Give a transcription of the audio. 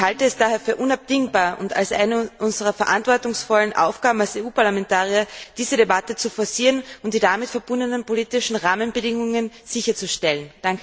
Ich halte es daher für unabdingbar und für eine unserer verantwortungsvollen Aufgaben als EU Parlamentarier, diese Debatte zu forcieren und die damit verbundenen politischen Rahmenbedingungen sicherzustellen.